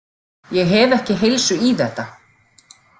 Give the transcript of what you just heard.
Ég hef ekki heilsu í þetta.